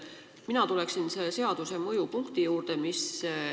Mina tulen selle seaduse mõju juurde.